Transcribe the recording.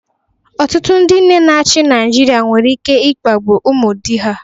Ọtụtụ ndị nne na-achị Naịjirịa nwere ike na-akpagbu ụmụ di ha